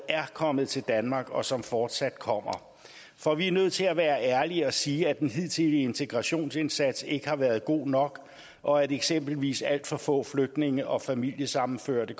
er kommet til danmark og dem som fortsat kommer for vi er nødt til at være ærlige og sige at den hidtidige integrationsindsats ikke har været god nok og at eksempelvis alt for få flygtninge og familiesammenførte